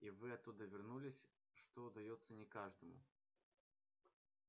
и вы оттуда вернулись что удаётся не каждому